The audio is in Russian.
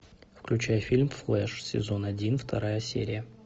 включай фильм флеш сезон один вторая серия